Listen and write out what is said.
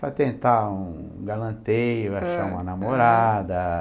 para tentar um um galanteio, achar uma namorada.